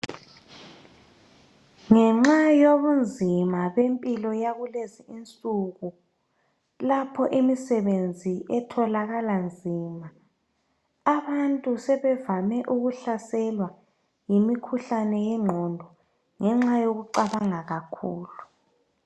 Ngenxa yobunzima bempilo yakulezinsuku. Lapho imisebenzi etholakala nzima, abantu sebevame ukuhlaselwa yimikhuhlane yengqondo ngenxa yokucabanga kakhulu.